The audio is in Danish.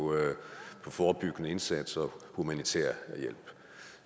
forebyggende indsatser og humanitær hjælp